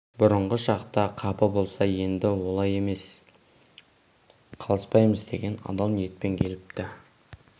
бұрынғы шақта қапы болса енді олай емес қалыспаймыз деген адал ниетпен келіпті